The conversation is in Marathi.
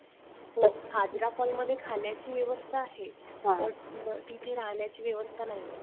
हाजरा फॉलमध्ये खाण्याची व्यवस्था आहे पण तिथे राहण्याची व्यवस्था नाही.